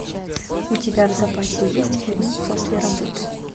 у тебя в запасе есть фильм после работы